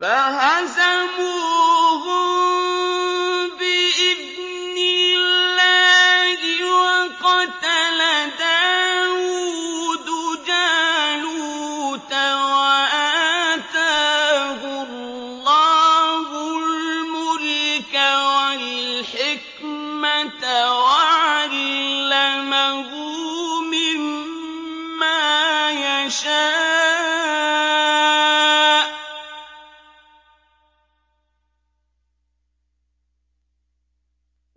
فَهَزَمُوهُم بِإِذْنِ اللَّهِ وَقَتَلَ دَاوُودُ جَالُوتَ وَآتَاهُ اللَّهُ الْمُلْكَ وَالْحِكْمَةَ وَعَلَّمَهُ مِمَّا يَشَاءُ ۗ